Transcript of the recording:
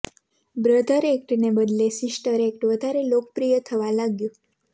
brother act ને બદલે sister act વધારે લોકપ્રિય થવા લાગ્યું